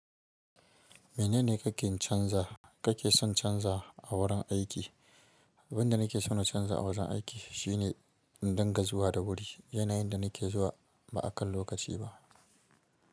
Menene ka ken canza, ka ke son canza a wurin aiki? Abin da nake so na canza a wajen aiki shine in dunga zuwa da wuri. Yana yin da nake zuwa ba a kan lokaci ba.